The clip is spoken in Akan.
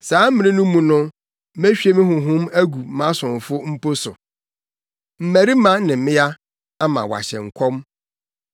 Saa mmere no mu no, mehwie me Honhom agu mʼasomfo mpo so, mmarima ne mmea, ama wɔahyɛ nkɔm.